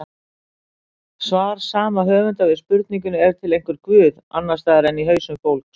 Svar sama höfundar við spurningunni Er til einhver guð, annars staðar en í hausum fólks?